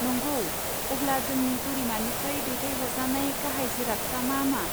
नंगौ! अब्ला जोंनि बोरिमानिफ्राय दैथायहरजानाय गाहाय जिरादफ्रा मा मा?